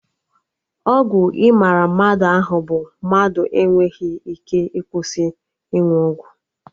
Ọgwụ ịmara mmadụ ahụ bụ mmadụ enweghị ike ịkwụsị ịnụ ọgwụ